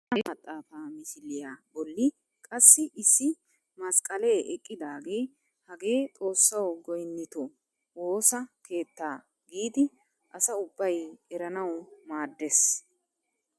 Dooya de'iyaa geeshsha maxaafaa misiliyaa bolli qassi issi masqqalee eqqidagee hagee xoossawu goynnitoo woossa keettaa giidi asa ubbay eranawu maaddees!